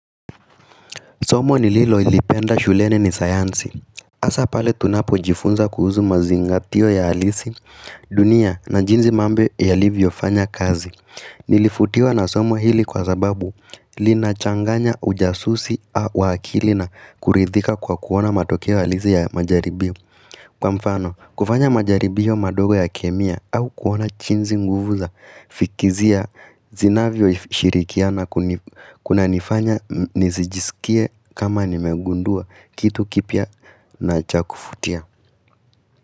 Somo nililolipenda shuleni ni sayansi. Asa pale tunapojifunza kuhuzu mazingatio ya alisi, dunia na jinzi mambo yalivyofanya kazi. Nilifutiwa na somo hili kwa sababu linachanganya ujasusi wa akili na kuridhika kwa kuona matokeo alisi ya majaribio. Kwa mfano, kufanya majaribiyo madogo ya kemia au kuona chinzi nguvu za fikizia zinavyoshirikiana kunanifanya nizijisikie kama nimegundua kitu kipiya na cha kufutia.